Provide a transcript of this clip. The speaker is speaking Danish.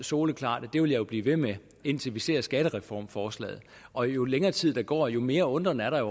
soleklart at det vil jeg blive ved med indtil vi ser skattereformforslaget og jo længere tid der går jo mere undren er der